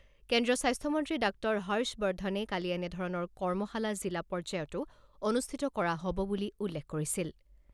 কেন্দ্ৰীয় স্বাস্থ্যমন্ত্ৰী ডাঃ হৰ্ষ বৰ্ধনে কালি এনেধৰণৰ কৰ্মশালা জিলা পৰ্যায়তো অনুষ্ঠিত কৰা হ'ব বুলি উল্লেখ কৰিছিল।